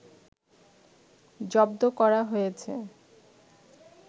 জব্দ করা হয়েছে